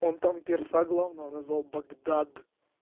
он там перса главного назвал багдад